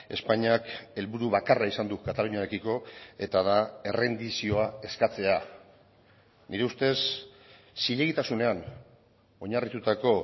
espainiak helburu bakarra izan du kataluniarekiko eta da errendizioa eskatzea nire ustez zilegitasunean oinarritutako